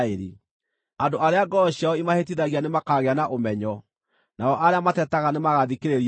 Andũ arĩa ngoro ciao imahĩtithagia nĩmakaagĩa na ũmenyo, nao arĩa matetaga nĩmagathikĩrĩria mataaro.”